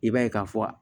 I b'a ye ka fɔ